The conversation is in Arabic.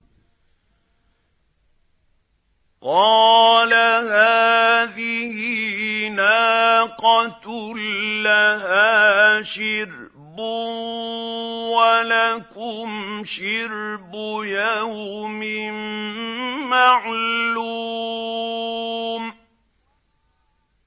قَالَ هَٰذِهِ نَاقَةٌ لَّهَا شِرْبٌ وَلَكُمْ شِرْبُ يَوْمٍ مَّعْلُومٍ